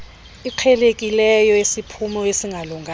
iqhelekileyo yesiphumo esingalunganga